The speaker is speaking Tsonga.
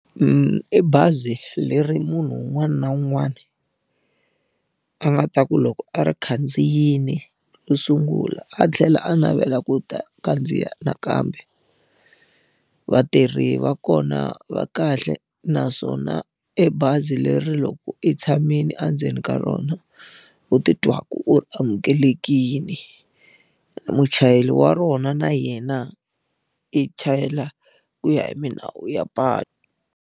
I bazi leri munhu un'wana na un'wana, a nga ta ku loko a ri khandziyile ro sungula a tlhela a navela ku ta khandziya nakambe. Vatirhi va kona va kahle naswona i bazi leri loko i tshamile endzeni ka rona, u ti twaka u amukelekile. Muchayeri wa rona na yena, i chayela ku ya hi milawu ya patu.